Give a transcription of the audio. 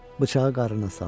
Bıçağı qarına saldı.